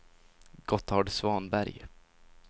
Gotthard Svanberg